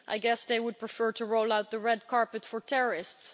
I guess they would prefer to roll out the red carpet for terrorists.